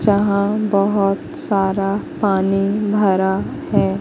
यहां बहुत सारा पानी भरा है।